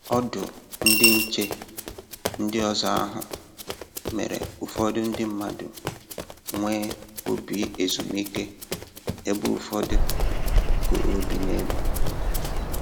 Ọdụ ndị nche ndị ọzọ ahụ mere ụfọdụ ndị mmadụ nwee obi ezumike ebe ụfọdụ koro obi n'elu